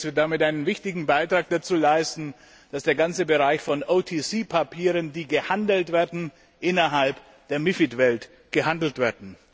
Ich denke, dass wir damit einen wichtigen Beitrag dazu leisten, dass der ganze Bereich von OTC Papieren, die gehandelt werden, innerhalb der MiFID Welt gehandelt wird.